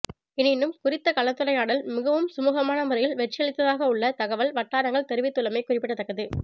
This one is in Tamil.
எனினும் குறித்த கலந்துரையாடல் மிகவும் சுமுகமான முறையில் வெற்றியளித்ததாக உள்ளக தகவல் வட்டாரங்கள் தெரிவித்துள்ளமை குறிப்பிடத்தக்கது